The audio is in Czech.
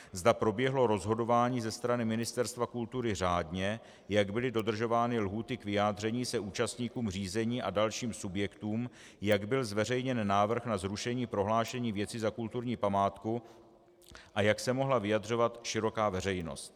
Zda proběhlo rozhodování ze strany Ministerstva kultury řádně, jak byly dodržovány lhůty k vyjádření se účastníkům řízení a dalším subjektům, jak byl zveřejněn návrh na zrušení prohlášení věci za kulturní památku a jak se mohla vyjadřovat široká veřejnost.